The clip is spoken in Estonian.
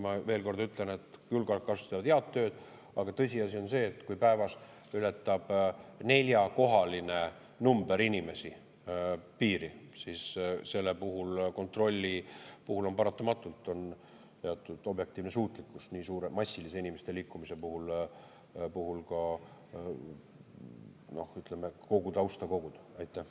Ma veel kord ütlen, et julgeolekuasutused teevad head tööd, aga tõsiasi on see, et kui päevas ületab piiri neljakohalise numbri jagu inimesi, siis selle puhul, kontrolli puhul on paratamatult teatud objektiivne suutlikkus, et nii suure, massilise inimeste liikumise puhul, ütleme, kogu tausta koguda.